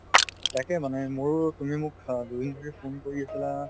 তাকে মানে মোৰো তুমি মোক অ দুদিন ধৰি phone কৰি আছিলা